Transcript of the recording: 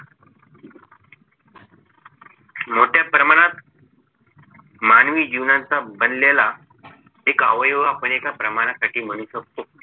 मोठ्या प्रमाणात मानवी जीवनाचा बनलेला एक अवयव आपण एका प्रमाणासाठी म्हणू शकतो